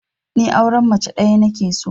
Ni auren mace ɗaya nake so